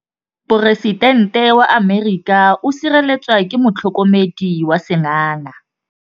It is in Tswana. Poresitêntê wa Amerika o sireletswa ke motlhokomedi wa sengaga.